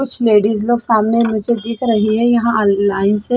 कुछ लेडीज लोग सामने निचे दिख रही है यहाँ लाइन से--